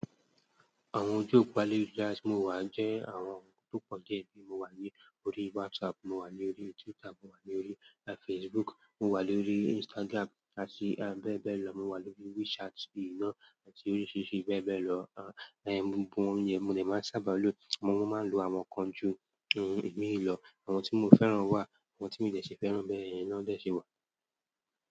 Àwọn ojú òpó alẹlujara ti mo wà jẹ́ àwọn ohun tó pọ̀ diẹ́ ni mo wà ní orí WhatsApp, mo wà lórí Twitter, mo wà lórí Facebook, mo wà lórí Instagram àti bẹ́ẹ̀ bẹ́ẹ̀ lọ. Mo wà lórí WeChat, ì náà àti oríṣiríṣi bẹ́ẹ̀ bẹ́ẹ̀ lọ. À, gbogbo won yẹn mo lè máa sábà lo. Mo máa ń lo àwọn kan ju imin lò, àwọn tí mo fẹ́ràn wà, àwọn tí mi dẹ̀ ṣe fẹ́ràn bẹ́ẹ̀ yẹn náà dẹ̀ ṣe wà.